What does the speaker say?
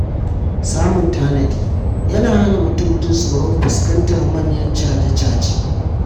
Samun tanadi yana hana mutum jin tsoron fuskantar manyan caje-caje.